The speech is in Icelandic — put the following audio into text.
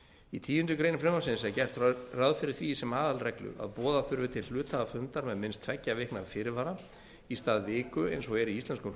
í tíundu greinar frumvarpsins er gert ráð fyrir því sem aðalreglu að boða þurfi til hluthafafundar með minnst tveggja vikna fyrirvara í stað viku eins og er í íslenskum